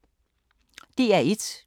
DR1